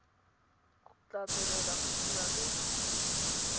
tla tswelela go dira le